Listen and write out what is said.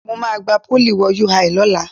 Mo máa gba Pólì wo UI lọ́la